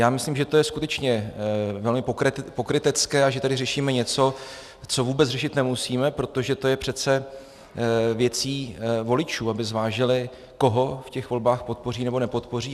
Já myslím, že to je skutečně velmi pokrytecké a že tady řešíme něco, co vůbec řešit nemusíme, protože to je přece věcí voličů, aby zvážili, koho v těch volbách podpoří nebo nepodpoří.